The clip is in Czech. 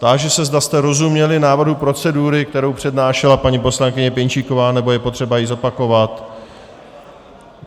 Táži se, zda jste rozuměli návrhu procedury, kterou přednášela paní poslankyně Pěnčíková, nebo je potřeba ji zopakovat?